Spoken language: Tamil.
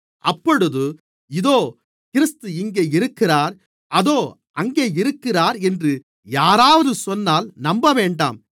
அப்பொழுது இதோ கிறிஸ்து இங்கே இருக்கிறார் அதோ அங்கே இருக்கிறார் என்று யாராவது சொன்னால் நம்பவேண்டாம்